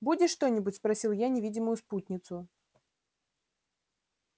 будешь что-нибудь спросил я невидимую спутницу